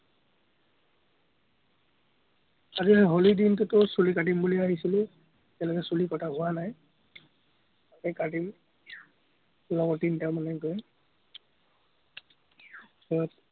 আজি এই হলি দিনটোতো চুলি কাটিম বুলি আহিছিলো, এতিয়ালেকে চুলি কটা হোৱা নায়। এ কাটিম, লগৰ তিনটামানে গৈ